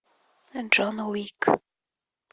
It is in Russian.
джон уик